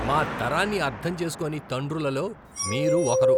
మా తరాన్ని అర్థం చేసుకోని తండ్రులలో మీరు ఒకరు.